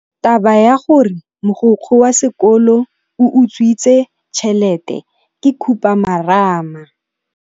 Taba ya gore mogokgo wa sekolo o utswitse tšhelete ke khupamarama.